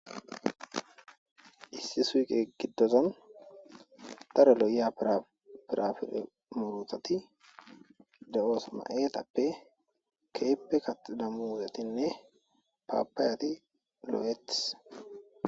Issi suqqe giddon daro lo'iya firafire muruththathi de'osona ayallape keehi kaxxida muzzetinne papayatti de'ettes.